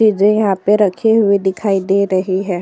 कीजिए यहाँ पे रखी हुई दिखाई दे रही हैं।